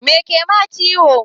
Me kema ciwo?